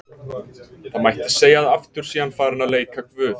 Það mætti segja að aftur sé hann farinn að leika guð.